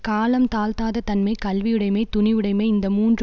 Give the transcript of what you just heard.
காலம் தாழ்த்தாத தன்மை கல்வியுடைமை துணிவுடைமை இந்த மூன்று